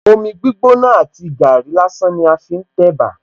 Omi gbígbóná àti gàárì lásán ni wón fi ń tẹ̀bà